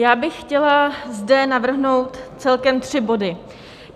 Já bych chtěla zde navrhnout celkem tři body.